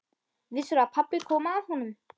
Vissirðu að pabbi kom að honum?